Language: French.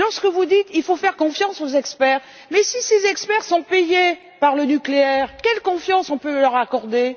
Vous dites qu'il faut faire confiance aux experts, mais si ces experts sont payés par le nucléaire, quelle confiance pouvons nous leur accorder?